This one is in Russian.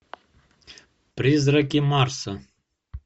призраки марса